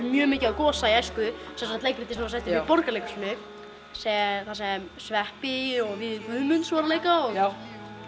mjög mikið á Gosa í æsku leikritið sem var sett upp í Borgarleikhúsinu þar sem sveppi og Viðar Guðmunds voru að leika og